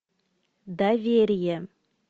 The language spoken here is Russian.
доверие